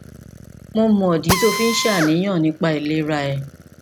mo mọ ìdí tí o fi ń ṣàníyàn nípa ìlera rẹ